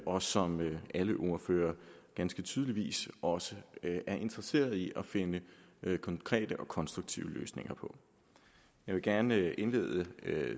og som alle ordførere ganske tydeligvis også er interesseret i at finde konkrete og konstruktive løsninger på jeg vil gerne indlede